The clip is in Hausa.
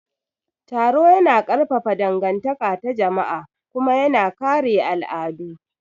Taro yana ƙarfafa dangantaka ta jama'a kuma yana kare al'adu.